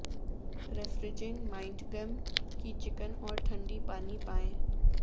refreshing mint gum کی چکن اور ٹھنڈی پانی پائیں